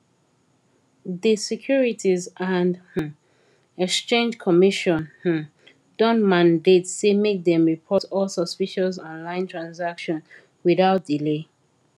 di securities and um exchange commission um don mandate say make dem report all suspicious online transaction without delay